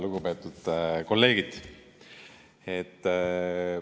Lugupeetud kolleegid!